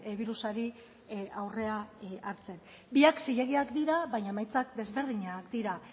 birusari aurrea hartzen biak zilegiak dira baina emaitzak desberdinak dira